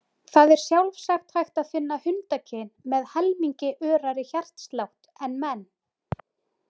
Það er sjálfsagt hægt að finna hundakyn með helmingi örari hjartslátt en menn.